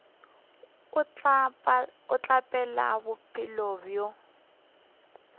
o tla phela bophelo bja